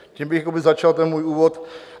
Tím bych začal ten můj úvod.